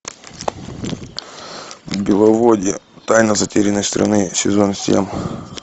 беловодье тайна затерянной страны сезон семь